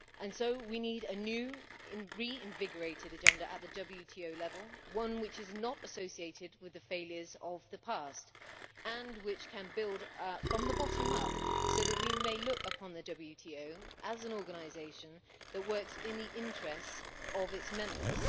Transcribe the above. So we need a new reinvigorated agenda at the WTO level one which is not associated with the failures of the past and which can build from the bottom up so that we may look upon the WTO as an organisation that works in the interests of its members.